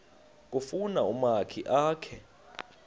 kufuna umakhi akhe